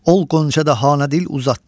ol qönçədə hanə dil uzatdı.